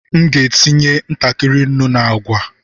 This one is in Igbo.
M ga-etinye ntakịrị nnu na agwa.